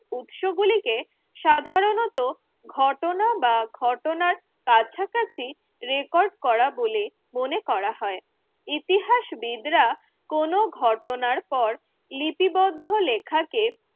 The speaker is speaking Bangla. উৎসগুলিকে সাধারণত ঘটনা বা ঘটনার কাছাকাছি রেকর্ড করা বলে মনে করা হয় ইতিহাসবিদরা কোন ঘটনার পর লিপিবদ্ধ লেখাকে